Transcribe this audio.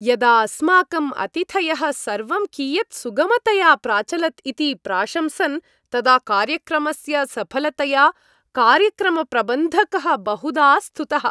यदा अस्माकं अतिथयः सर्वं कियत् सुगमतया प्राचलत् इति प्राशंसन् तदा कार्यक्रमस्य सफलतया कार्यक्रमप्रबन्धकः बहुधा स्तुतः।